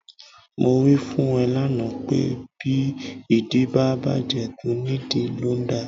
Mo wí fún ẹ lánàá pé bí ìdí bá bàjẹ́, tónìdìí ló ń dà.